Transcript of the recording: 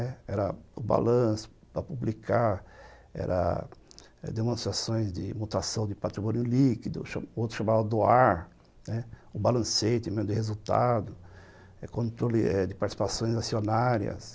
Era o balanço para publicar, era demonstrações de mutação de patrimônio líquido, outro chamava doar, né, o balancete também de resultado, controle de participações acionárias.